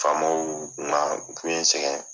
Faamaw man n sɛgɛn.